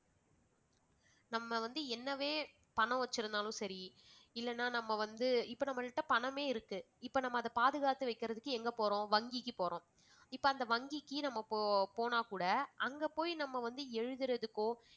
நம்ம வந்து என்னவே பணம் வைத்திருந்தாலும் சரி இல்லனா நம்ம வந்து இப்ப நம்மகிட்ட பணமே இருக்கு இப்ப நம்ம அத பாதுகாத்து வைக்கிறதுக்கு எங்க போறோம் வங்கிக்கு போறோம். இப்ப அந்த வங்கிக்கு நம்ம போ~ போனா கூட அங்க போய் நம்ம வந்து எழுதுறதுக்கோ